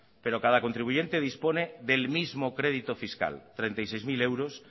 pero cada contribuyente dispone del mismo crédito fiscal treinta y seis mil euros